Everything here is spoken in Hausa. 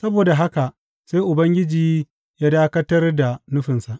Saboda haka sai Ubangiji ya dakatar da nufinsa.